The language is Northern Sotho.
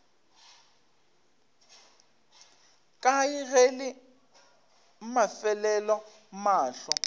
kae ge la mafelelo mahlo